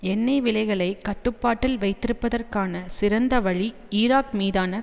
எண்ணெய் விலைகளை கட்டுப்பாட்டில் வைத்திருப்பதற்கான சிறந்த வழி ஈராக் மீதான